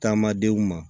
Taama denw ma